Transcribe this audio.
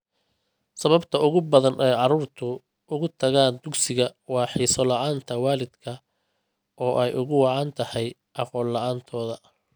Sababta ugu badan ee carruurtu uga tagaan dugsiga waa xiiso la'aanta waalidka oo ay ugu wacan tahay aqoon la'aantooda.